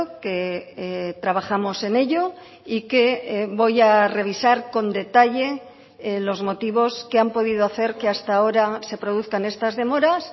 que trabajamos en ello y que voy a revisar con detalle los motivos que han podido hacer que hasta ahora se produzcan estas demoras